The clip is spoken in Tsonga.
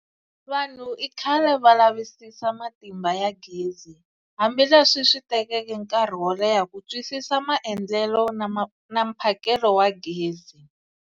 Vanhu ikhale va lavisisa Matimba ya gezi, hambi leswi switekeke nkarhi wo leha kutwisisa maendlele na mphakelo wa gezi.